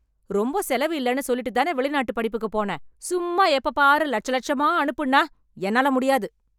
ரொம்ப செலவு இல்லன்னு சொல்லிட்டுத் தான வெளிநாட்டு படிப்புக்கு போன. சும்மா எப்ப பாரு லட்ச லட்சமா அனுப்புன்னா என்னால முடியாது.